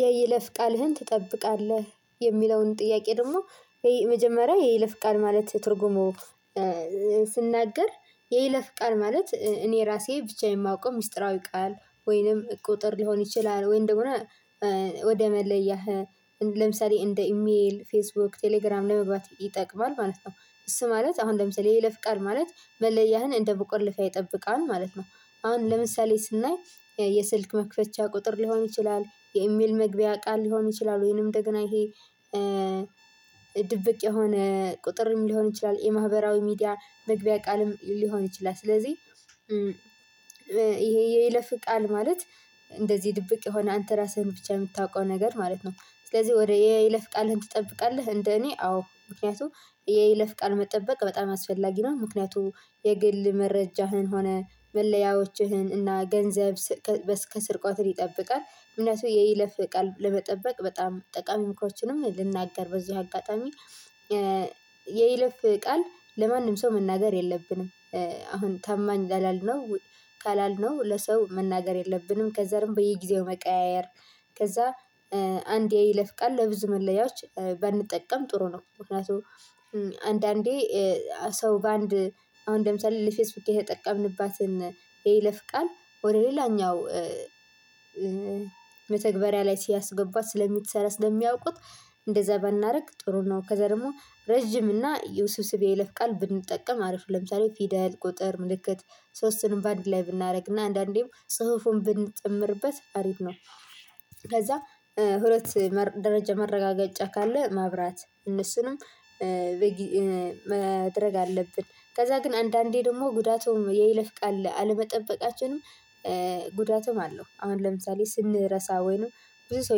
የይለፍ ቃልህን ትጠብቃለህ የሚለውን ጥያቄ ደግሞ የመጀመሪያ የይለፍ ቃል ማለት ትርጉሙ። ስናገር የይለፍ ቃል ማለት እኔ ራሴ ብቻ የማውቀው ሚስጥራዊ ቃል ወይንም ቁጥር ሊሆን ይችላል ወም እንደሆነ ወደ መለያህ ለምሳሌ እንደ ኢሜል ፌስቡክ ቴሌግራም ለመግባት ይጠቅማል ማለት ነው። እሱ ማለት አሁን ለምሳሌ የይለፍ ቃል ማለት መለያህን እንደ መቆለፊያ ይጠብቃል ማለት ነው። አሁን ለምሳሌ ስናይ የስልክ መክፈቻ ቁጥር ሊሆን ይችላል የኢሜል መግቢያ ቃል ሊሆን ይችላል ወይንም እንደገና ይሄ ድብቅ የሆነ ቁጥርም ሊሆን ይችላል የማህበራዊ ሚዲያ መግቢያ ቃልም ሊሆን ይችላል። ስለዚህ ይሄ የይለፍ ቃል ማለት እንደዚህ ድብቅ የሆነ አንተ ራስህን ብቻ የምታውቀው ነገር ማለት ነው። ስለዚህ ወደ የይለፍ ቃልህን ትጠብቃለህ እንደ እኔ አዎ ምክንያቱም የይለፍ ቃል መጠበቅ በጣም አስፈላጊ ነው። ምክንያቱም የግል መረጃህን ሆነ መለያዎችህን እና ገንዘብ ከስርቆት ይጠብቃል እምነቱ የይለፍ ቃል ለመጠበቅ በጣም ጠቃሚ ምክሮችንም ልናገር በዚህ አጋጣሚ። የይለፍ ቃል ለማንም ሰው መናገር የለብንም። አሁን ታማኝ ላላልነው ካላልነው ለሰው መናገር የለብንም ከዛም በየጊዜው መቀያየር። ከዛ አንድ የይለፍ ቃል ለብዙ መለያዎች ባንጠቀም ጥሩ ነው። ምክንያቱም አንዳንዴ ሰው በአንድ አሁን ለምሳሌ ለፌስቡክ የተጠቀምንባትን የይለፍ ቃል ወደ ሌላኛው መተግበሪያ ላይ ሲያስገባ ስለሚሰራ ስለሚያውቁት እንደዛ ባናደርግ ጥሩ ነው። ከዛ ደግሞ ረጅም እና ውስብስብ የለፍ ቃል ብንጠቀም አሪፍ ለምሳሌ ፊደል ቁጥር ምልክት ሶስቱንም በአንድ ላይ ብናደርግና አንዳንዴም ጽሁፉን ብንጨምርበት አሪፍ ነው። ከዛ ሁለት ደረጃ መረጋገጫ ካለ ማብራት እነሱንም መደረግ አለብን። ከዛ ግን አንዳንዴ ደግሞ ጉዳቱም የይለፍቃል አለመጠበቃችን ጉዳቱም አለው አሁን ለምሳሌ ስንረሳ ወይ ነው። ብዙ ሰው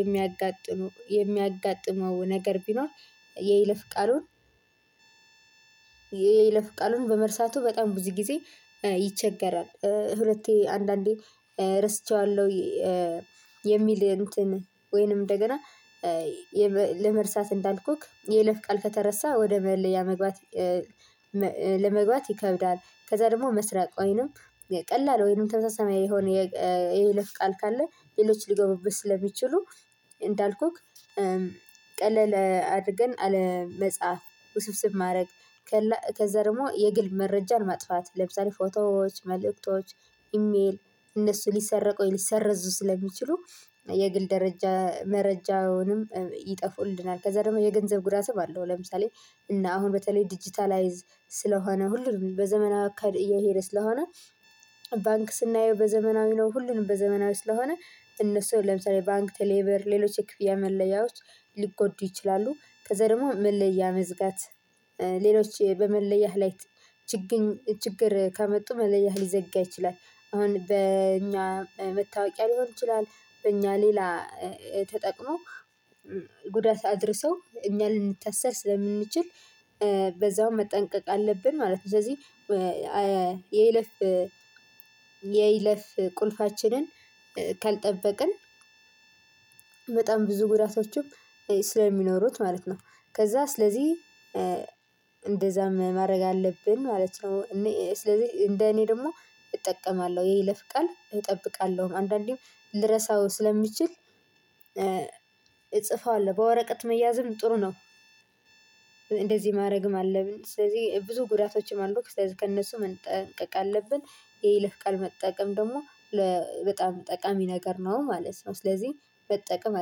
የሚያጋጥመው የሚያጋጥመው ነገር ቢኖር። የይለፍ ቃሉን የለፍ ቃሉን በመርሳቱ በጣም ብዙ ጊዜ ይቸገራል። ሁለቴ አንዳንዴ ረስቸዋለሁ። የሚል እንትን ወይንም እንደገና ለመርሳት እንዳልኩክ የይለፍ ቃል ከተረሳ ወደ መለያ መግባት ለመግባት ይከብዳል። ከዛ ደግሞ መስረቅ ወይንም ቀላል ወይንም ተመሳሳይ የሆነ የይለፍ ቃል ካለ ሌሎች ሊጎበቡት ስለሚችሉ። እንዳልኩክ ቀለል አድርገን አለመጻፍ ውስብስብ ማድረግ። ከዛ ደግሞ የግል መረጃን ማጥፋት ለምሳሌ ፎቶዎች መልእክቶች ኢሜል እነሱ ሊሰረቁ ሊሰረዙ ስለሚችሉ የግል ደረጃ መረጃውንም ይጠፉልናል። ከዛ ደግሞ የገንዘብ ጉዳት አለው። ለምሳሌ እና አሁን በተለይ ዲጂታላይዝ ስለሆነ ሁሉም በዘመናዊ እየሄደ ስለሆነ ባንክ ስናየው በዘመናዊ ነው ሁሉንም በዘመናዊ ስለሆነ እነሱ ለምሳሌ ባንክ ቴሌብር ሌሎች የክፍያ መለያዎች ሊጎዱ ይችላሉ። ከዛ ደግሞ መለያ መዝጋት ሌሎች በመለያህ ላይ ችግር ከመጡ መለያህ ሊዘጋ ይችላል። አሁን በእኛ መታወቂያ ሊሆን ይችላል። በእኛ ሌላ ተጠቅሞ ጉዳት አድርሰው እኛ ልንተሰር ስለምንችል በዛው መጠንቀቅ አለብን ማለት ነው። ስለዚህ የይለፍ የይለፍ ቁልፋችንን ካልጠበቅን በጣም ብዙ ጉዳቶችም ስለሚኖሩት ማለት ነው። ከዛ ስለዚህ እንደዛም ማድረግ አለብን ማለት ነው። እኔ ስለዚህ እንደ እኔ ደግሞ እጠቀማለሁ የይለፍ ቃል እጠብቃለሁ አንዳንዴ ልረሳው ስለሚችል እጽፈዋለሁ በወረቀት መያዝም ጥሩ ነው። እንደዚህ ማድረግም አለብን ስለዚህ ብዙ ጉዳቶችም አሉት ስለዚህ ከእነሱ መጠንቀቅ አለብን። የይለፍ ቃል መጠቀም ደግሞ ለበጣም ጠቃሚ ነገር ነው ማለት ነው። ስለዚህ መጠቀም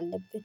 አለብን።